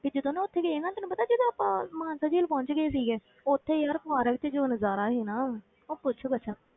ਕਿ ਜਦੋਂ ਨਾ ਉੱਥੇ ਗਏ ਸੀਗੇ ਨਾ ਤੈਨੂੰ ਪਤਾ ਜਦ ਆਪਾਂ ਮਾਨਸਾ ਝੀਲ ਪਹੁੰਚ ਗਏ ਸੀਗੇ, ਉੱਥੇ ਯਾਰ park ਵਿੱਚ ਜੋ ਨਜ਼ਾਰਾ ਸੀ ਨਾ, ਉਹ ਪੁੱਛ ਕੁਛ।